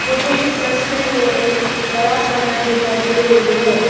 मुझे इस तस्वीर में एक बड़ा सा घर दिखाई दे रही है।